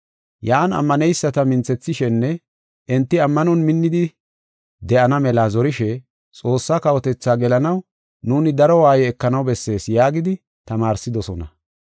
Yan ammaneyisata minthethishenne enti ammanon minnidi de7ana mela zorishe, “Xoossaa kawotethaa gelanaw nuuni daro waaye ekanaw bessees” yaagidi tamaarsidosona.